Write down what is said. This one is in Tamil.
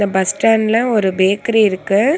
அ பஸ் ஸ்டாண்ட்ல ஒரு பேக்கரி இருக்கு.